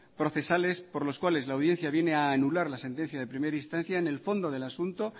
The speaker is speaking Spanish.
procesales por los cuales la audiencia viene a anular la sentencia de primera instancia en el fondo del asunto